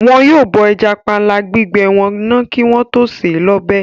Wọn yóò bọ ẹja panla gbígbẹ wọn náà kí wọ́n tó sè é lọ́bẹ̀